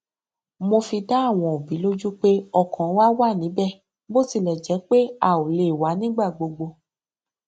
mo fi dá àwọn òbí lójú pé ọkàn wa wá níbẹ bó tilẹ jẹ pé a ò lè wá nígbà gbogbo